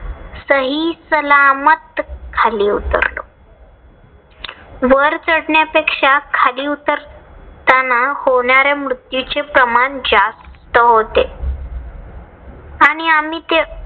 सहीसलामत खाली उतरलो. वर चढण्यापेक्षा खाली उतरताना होणाऱ्या मृत्यूचे प्रमाण जास्त होते. आणि आम्ही ते